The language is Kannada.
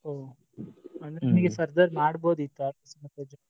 ಹ್ಮ್ ಅಂದ್ರೆ ಮಾಡ್ಬಹುದ್ ಇತ್ತು .